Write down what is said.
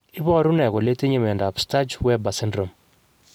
Iporu ne kole itinye miondap Sturge Weber syndrome?